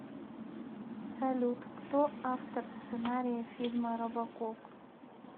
салют кто автор сценария фильма робокоп